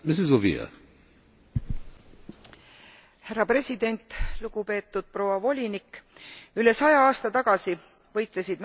Üle saja aasta tagasi võitlesid naised välja õiguse käia koolis ja saada haridust.